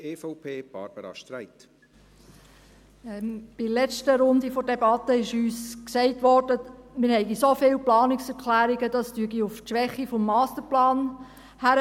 In der letzten Runde der Debatte wurde uns gesagt, wir hätten so viele Planungserklärungen, das weise auf die Schwäche des Masterplans hin.